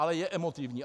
Ale je emotivní.